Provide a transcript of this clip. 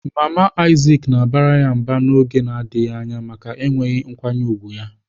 Mama Isaac na-abara ya mba n'oge na-adịghị anya maka enweghị nkwanye ùgwù ya.